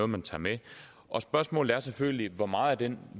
man tager med og spørgsmålet er selvfølgelig hvor meget af den